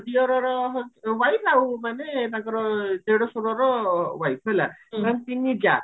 ଦିଅରର wife ଆଉ ମାନେ ତାଙ୍କର ଦେଢଶୂରର wife ହେଲା ସେମାନେ ତିନି ଯାଆ